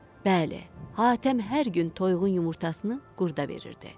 Bəli, Hatəm hər gün toyuğun yumurtasını qurda verirdi.